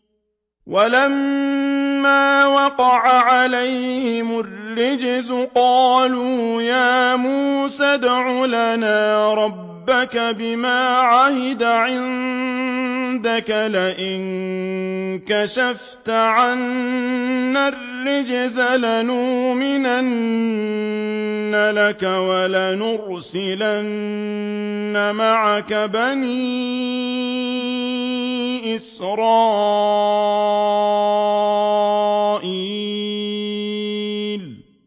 وَلَمَّا وَقَعَ عَلَيْهِمُ الرِّجْزُ قَالُوا يَا مُوسَى ادْعُ لَنَا رَبَّكَ بِمَا عَهِدَ عِندَكَ ۖ لَئِن كَشَفْتَ عَنَّا الرِّجْزَ لَنُؤْمِنَنَّ لَكَ وَلَنُرْسِلَنَّ مَعَكَ بَنِي إِسْرَائِيلَ